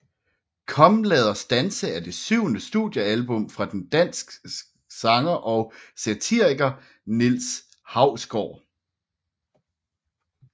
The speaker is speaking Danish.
Kom lad os danse er det syvende studiealbum fra den dansk sanger og satiriker Niels Hausgaard